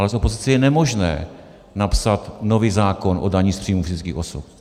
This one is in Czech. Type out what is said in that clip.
Ale z opozice je nemožné napsat nový zákon o dani z příjmu fyzických osob.